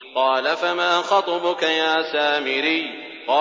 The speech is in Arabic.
قَالَ فَمَا خَطْبُكَ يَا سَامِرِيُّ